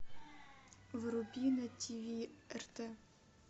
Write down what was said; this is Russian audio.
вруби на тиви рт